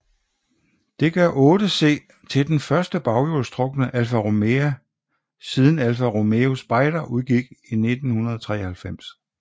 Dette gør 8C til den første baghjulstrukne Alfa Romeo siden Alfa Romeo Spider udgik i 1993